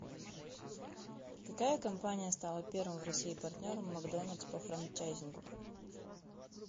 какая компания стала первым в россии партнером макдоналдс по франчайзингу